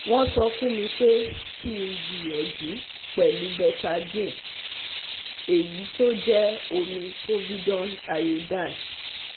Won sofunmi pe ki gbiyanju pelu Betadine, eyi to je omi Povidone Iodine